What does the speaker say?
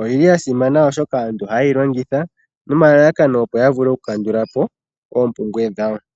Oyili ya simana, oshoka aantu oha ye yi longitha noma lalakano opo aantu ya vule oku kandulapo oopumbwe dhawo.